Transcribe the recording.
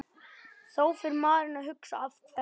Þá fer maður að hugsa Af hverju?